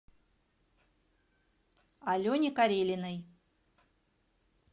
алене карелиной